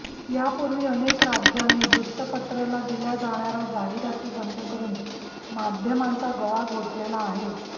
यापुर्वी अनेक राज्यांनी वृत्तपत्राला दिल्या जाणार्या जाहिराती बंद करून माध्यमांचा गळा घोटलेला आहेच